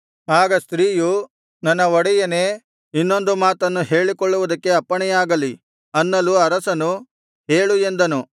ಆಗ ಸ್ತ್ರೀಯು ನನ್ನ ಒಡೆಯನೇ ಇನ್ನೊಂದು ಮಾತನ್ನು ಹೇಳಿಕೊಳ್ಳುವುದಕ್ಕೆ ಅಪ್ಪಣೆಯಾಗಲಿ ಅನ್ನಲು ಅರಸನು ಹೇಳು ಎಂದನು